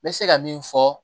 N bɛ se ka min fɔ